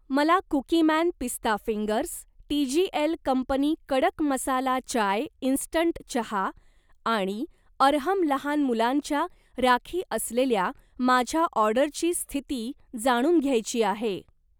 मला कुकीमॅन पिस्ता fingers, TGL company कडक मसाला चाय इंस्टंट चहा आणि अरहम लहान मुलांच्या राखी असलेल्या माझ्या ऑर्डरची स्थिती जाणून घ्यायची आहे.